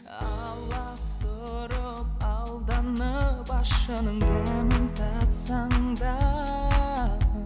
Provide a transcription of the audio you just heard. аласұрып алданып ащының дәмін татсаң да